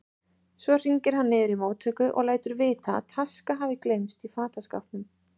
Svo hringir hann niður í móttöku og lætur vita að taska hafi gleymst í fataskápnum.